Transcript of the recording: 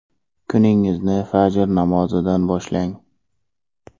Kuningizni fajr namozidan boshlang!